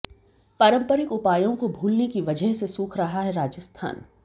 पारंपरिक उपायों को भूलने की वजह से सूख रहा है राजस्थान